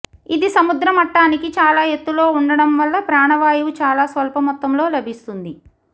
ఇది సముద్రమట్టానికి చాలా ఎత్తులో ఉండటం వల్ల ప్రాణవాయువు చాలా స్వల్పమొత్తంలో లభిస్తుంది